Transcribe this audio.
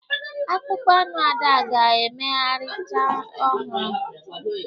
Akpụkpọ anụ Ada ga-emegharị ncha ọhụrụ